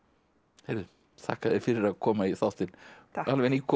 heyrðu þakka þér fyrir að koma í þáttinn takk alveg nýkomið